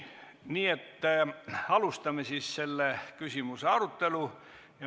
Nii et alustame selle küsimuse arutelu.